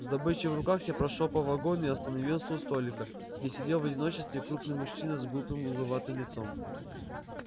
с добычей в руках я прошёл по вагону и остановился у столика где сидел в одиночестве крупный мужчина с грубым угловатым лицом